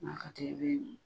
N'a ka